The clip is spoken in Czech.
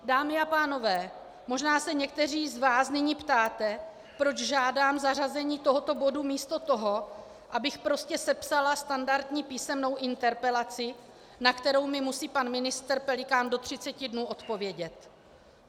Dámy a pánové, možná se někteří z vás nyní ptáte, proč žádám zařazení tohoto bodu místo toho, abych prostě sepsala standardní písemnou interpelaci, na kterou mi musí pan ministr Pelikán do 30 dnů odpovědět.